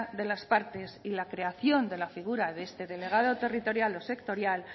de las partes y la creación de la figura de este delegado territorial o sectorial